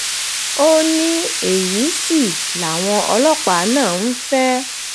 ó ní èyí sì làwọn ọlọ́pàá náà ń fẹ́